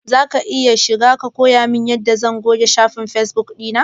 Zaka iya koyamin yanda zan bi na goge shafin fesbuk ɗina?